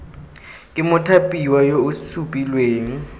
ke mothapiwa yo o supilweng